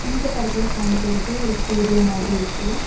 இந்த படத்துல காமிக்கிறது ஒரு ஸ்டூடியோ மாதிரி இருக்கு.